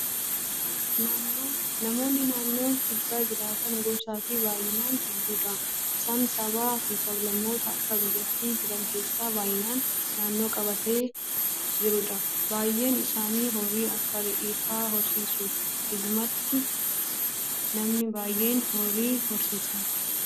Namoonni naannoo kibbaa jiraatan gosaa fi baay'inaan hedduudha. Isaanis sabaaa fi sab-lammoota akka biyyaatti jiran keessaa baay'inaan naannoo qabatee jirudha. Baay'een isaanii horii akka re'ee fa'aa horsiisu. Dhugumatti namni baay'een horii horsiisa.